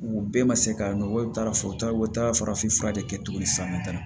U bɛɛ ma se ka nɔ bɔ i taara fɔ u taara u taara farafin fura de kɛ tuguni sisan nɔ